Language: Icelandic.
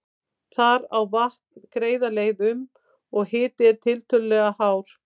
Þar á vatn greiða leið um, og hiti er tiltölulega hár.